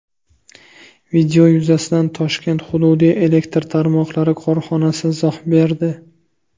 Video yuzasidan Toshkent hududiy elektr tarmoqlari korxonasi izoh berdi .